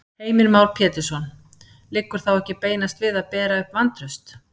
Heimir Már Pétursson: Liggur þá ekki beinast við að bera upp vantraust?